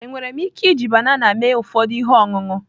Enwere m ike iji banana mee ụfọdụ ihe ọṅụṅụ?